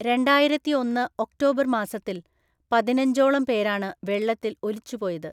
രണ്ടായിരത്തി ഒന്ന് ഒക്ടോബർ മാസത്തിൽ പതിനഞ്ചോളം പേരാണ് വെള്ളത്തിൽ ഒലിച്ചുപോയത്.